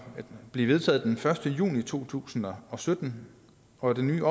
blev vedtaget den første juni to tusind og sytten og at den nye